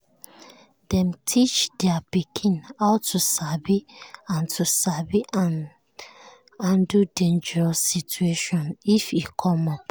dem teach their pikin how to sabi and to sabi and handle dangerous situation if e come up.